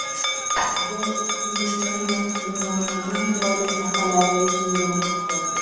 The Independent dunyoning eng chiroyli shaharlari reytingini tuzdi.